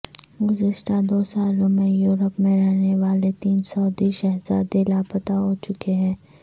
گذشتہ دو سالوں میں یورپ میں رہنے والے تین سعودی شہزادے لاپتہ ہو چکے ہیں